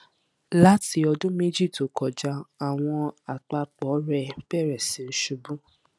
lati ọdun meji to kọja awọn apapo rẹ bẹrẹ si ṣubu